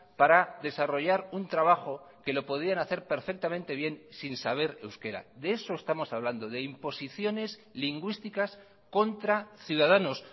para desarrollar un trabajo que lo podían hacer perfectamente bien sin saber euskera de eso estamos hablando de imposiciones lingüísticas contra ciudadanos